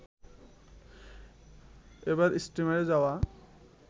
এবার স্টিমারে যাওয়া